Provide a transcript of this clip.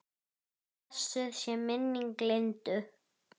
Blessuð sé minning Lindu.